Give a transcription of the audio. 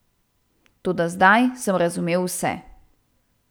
Toda zdaj sem razumel vse.